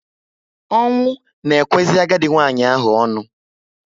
Ọnwụ na ekwezi agadi nwanyị ahụ onu